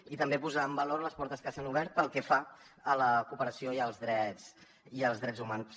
i també posar en valor les portes que s’han obert pel que fa a la cooperació i als drets humans